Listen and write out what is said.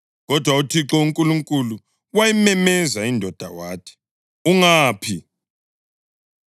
Kodwa uThixo uNkulunkulu wayimemeza indoda wathi, “Ungaphi?”